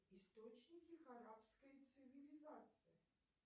источники харабской цивилизации